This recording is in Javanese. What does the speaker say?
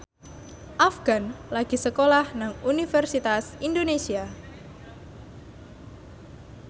Afgan lagi sekolah nang Universitas Indonesia